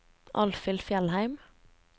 Alfhild Fjellheim